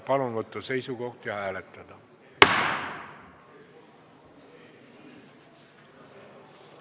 Palun võtta seisukoht ja hääletada!